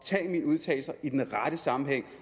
tage mine udtalelser i den rette sammenhæng